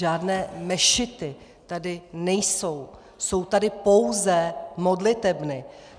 Žádné mešity tady nejsou, jsou tady pouze modlitebny.